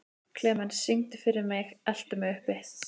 Klemens, syngdu fyrir mig „Eltu mig uppi“.